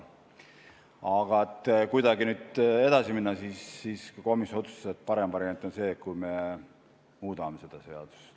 Aga et kuidagi nüüd edasi minna, siis komisjon otsustas, et parem variant on see, kui me muudame seda seadust.